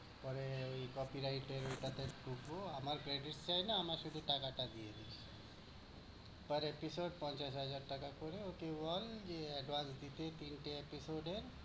পরে ঐ copyright এর ঐটাতে ভুগবো। আমার credit চাই না, আমার শুধু টাকাটা দিয়ে দিবি। Per episode পঞ্চাশ হাজার টাকা করে। OT one দিয়ে advance দিতে তিনটে episode এর